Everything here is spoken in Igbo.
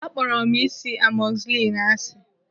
Akpọrọ m ị́sị̀ amogusilinu ásị.